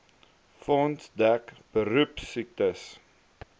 fonds dek beroepsiektes